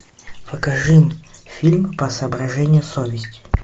покажи фильм по соображениям совести